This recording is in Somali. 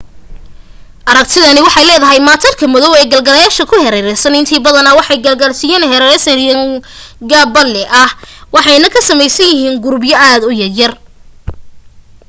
aragtidani waxay leedahay maatarka madoow ee gaalagsiyada ku hareeraysan intiisa badani waxay gaalagsiga ugu hareeraysan yihiin qaab balli ah waxayna ka samaysan yihiin qurubyo aad u yaryar